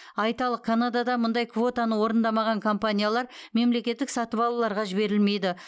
айталық канадада мұндай квотаны орындамаған компаниялар мемлекеттік сатып алуларға жіберілмейді